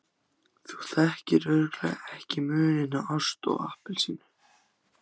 Þú þekkir örugglega ekki muninn á ást og appelsínu.